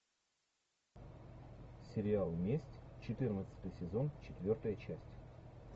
сериал месть четырнадцатый сезон четвертая часть